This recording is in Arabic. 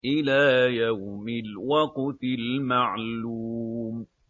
إِلَىٰ يَوْمِ الْوَقْتِ الْمَعْلُومِ